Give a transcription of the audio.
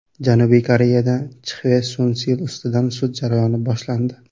Janubiy Koreyada Chxve Sun Sil ustidan sud jarayoni boshlandi.